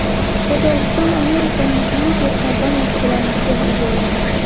Qozog‘iston Amerikaning Pfizer kompaniyasi bilan bitim imzoladi.